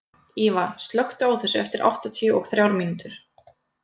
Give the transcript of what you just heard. Íva, slökktu á þessu eftir áttatíu og þrjár mínútur.